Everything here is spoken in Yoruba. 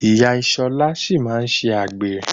Ìyá Ṣọlá sì máa ṣe àgbèrè.